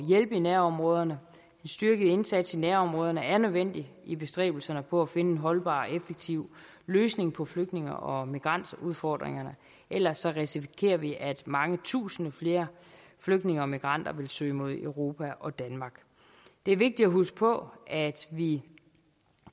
hjælpe i nærområderne en styrket indsats i nærområderne er nødvendig i bestræbelserne på at finde en holdbar og effektiv løsning på flygtninge og migrantudfordringerne ellers risikerer vi at mange tusinde flere flygtninge og migranter vil søge mod europa og danmark det er vigtigt at huske på at vi